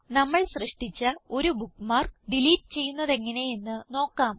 നമ്മൾ സൃഷ്ടിച്ച ഒരു ബുക്ക്മാർക്ക് ഡിലീറ്റ് ചെയ്യുന്നതെങ്ങനെ എന്ന് നോക്കാം